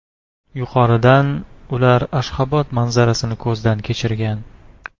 Yuqoridan ular Ashxobod manzarasini ko‘zdan kechirgan.